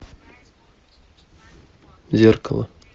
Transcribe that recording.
зеркало